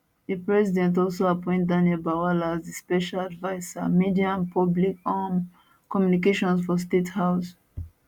di president also appoint daniel bwala as di special adviser media and public um communications for state house